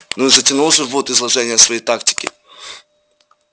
ну и затянул же вуд изложение своей тактики